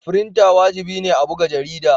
Frinter wajibi ne a buga jarida.